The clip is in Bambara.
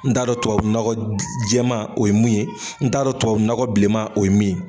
N t'a dɔn tubabu nɔgɔ jɛman o ye mun ye, n t'a tubabu nɔgɔ bilenman o ye min